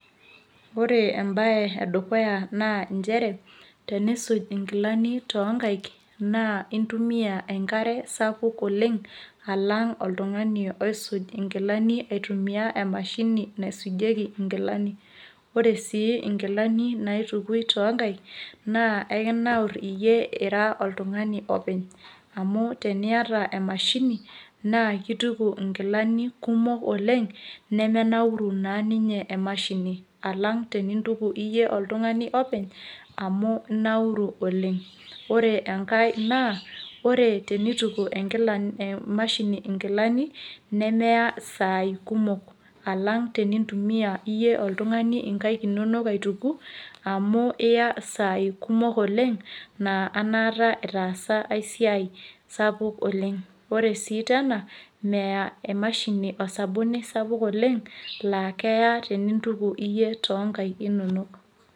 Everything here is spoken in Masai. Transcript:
Ore embaye edukuya naa nchere teniisuj nkilani toonkaik naa intumia enkare sapuk oleng' alang' oltung'ani oisujnkilani aitumia emashini naisujieki nkilani, ore sii nkilani naitukuni toonkaik naa kintanaurr iyie ira oltung'ani openy amu teniata emashini naa kituku nkilani kumok oleng' nemenauru naa ninye emashini alang' tenintuku oltung'ani openy amu inauru oleng' ore enkae naa ore tenituk emashini nkilani eyaa isaai kumok alang' tenintumiaa iyie oltung'ani inkaik inonok aituku amu iya isaai kumok oleng' naa enaata itaasa ai siai sapuk oleng', ore sii tena meya emashini osabuni sapuk oleng' laa keya tenintukuyie inkaaik inonok.